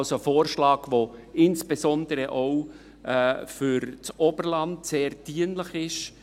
Es ist also ein Vorschlag, der insbesondere auch für das Oberland sehr dienlich ist.